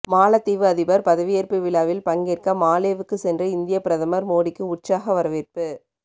மாலத்தீவு அதிபர் பதவியேற்பு விழாவில் பங்கேற்க மாலேவுக்கு சென்ற இந்திய பிரதமர் மோடிக்கு உற்சாக வரவேற்பு